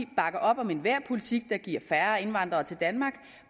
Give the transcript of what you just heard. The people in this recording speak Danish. bakker op om enhver politik der giver færre indvandrere til danmark